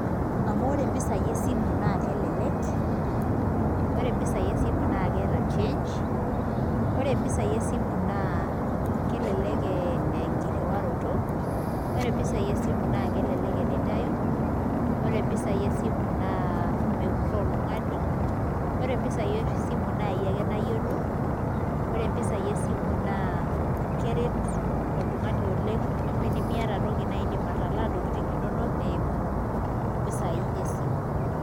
Amu ore mpisaai esimu naa kelelek ore mpisaai esimu naa keeta change ore mpisaai esimu naa kelelek enkirriwaroto ore mpisaai esimu naa kelelek enintayu ore mpisaai esimu naa mepurroo oltung'ani ore mpisaai esimu naa iyie ake nayiolo ore mpisaai esimu naa keret oltung'ani oleng' amu enimiata toki naa iindim atalaa ntokitin inonok eimu mpisaai esimu.